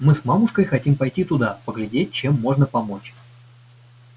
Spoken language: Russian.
мы с мамушкой хотим пойти туда поглядеть чем можно помочь